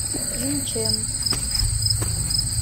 инчэн